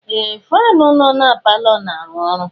Ee! Faanụ nọ na palọ na-arụ ọrụ.